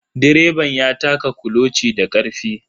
Direban ya taka kuloci da karfe.